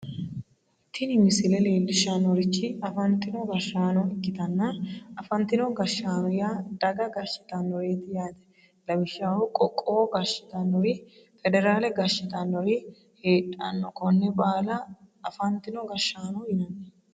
tini misile leellishshannorichi afantino gashshaano ikkitanna afantino gashshaano yaa daga gashshitinoreeti yaate lawishshaho qoqqowo gashshitinori federaale gashshitinori heedhanno konne baala afantino gashshaano yinanni.